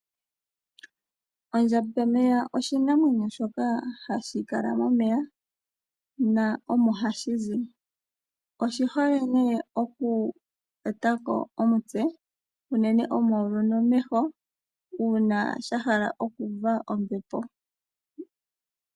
Ondjambameya osho oshinamwenyo shoka hashi kala momeya na omohashi zi oshihole nee oku etako omutse unene omayulu nomeho uuna sha hala okuuva ombepo.